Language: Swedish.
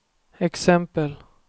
exempel